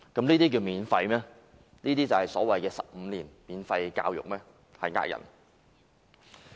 由此可見，所謂的15年免費教育有欺騙市民之嫌。